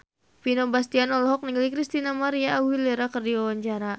Vino Bastian olohok ningali Christina María Aguilera keur diwawancara